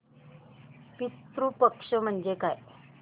पितृ पक्ष म्हणजे काय